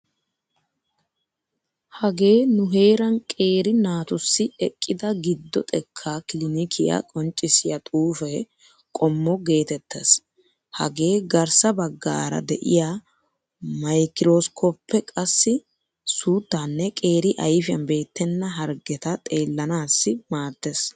Hagee nu heeran qeeri naatussi eqqida giddo xekkaa kilinikiya qonccissiya xuufe qommo geetettees. Hagee garssa baggaara de'iya maykiroskoppe qassi suuttaanne qeeri ayfiyan beettenna harggeta xeellanaassi maaddeees.